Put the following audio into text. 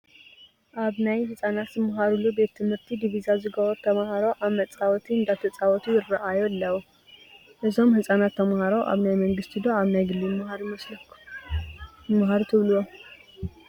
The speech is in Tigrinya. ኣብ ናይ ህፃት ዝማሃሩሉ ቤት ትምህርቲ ዲቪዛ ዝገበሩ ተምሃሮ ኣብ መፃወቲ እንዳተፃወቱ ይራኣዩ ኣለው፡፡ እዞም ህፃናት ተምሃሮ ኣብ ናይ መንግስቲ ዶ ኣብ ግሊ ይማሃሩ ትብልዎም?